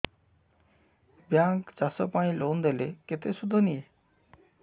bank ଚାଷ ପାଇଁ loan ଦେଲେ କେତେ ସୁଧ ନିଏ